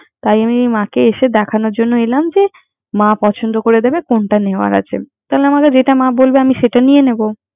তাই আমি মাকে এসে দেখানোর জন্য এলাম যে মা পছন্দ করে দেবে কোনটা নেওয়ার আছে। তারপর মা যে টা বলবে আমি সেটা নিয়ে নিবো।